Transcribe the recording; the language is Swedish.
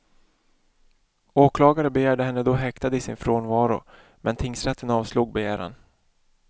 Åklagaren begärde henne då häktad i sin frånvaro, men tingsrätten avslog begäran.